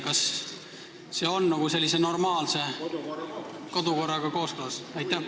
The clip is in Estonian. Kas see on normaalse kodukorraga kooskõlas?